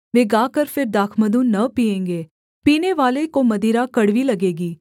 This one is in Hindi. वे गाकर फिर दाखमधु न पीएँगे पीनेवाले को मदिरा कड़वी लगेगी